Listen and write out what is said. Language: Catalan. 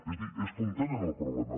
és a dir és com tenen el problema